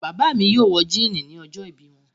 Bàbá mi yóò wọ jíínì ni ọjọ́ọ̀bí wọn.